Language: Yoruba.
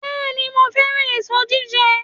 Bẹ́ẹ̀ni, mo fẹ́ràn èso jíjẹ